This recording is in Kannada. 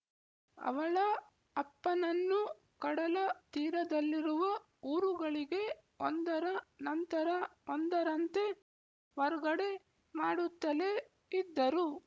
ಅವಳ ಅಪ್ಪನನ್ನು ಕಡಲ ತೀರದಲ್ಲಿರುವ ಊರುಗಳಿಗೆ ಒಂದರ ನಂತರ ಒಂದರಂತೆ ವರ್ಗಡೆ ಮಾಡುತ್ತಲೇ ಇದ್ದರು